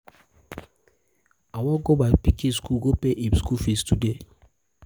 i wan go my pikin school go pay pay im school fees today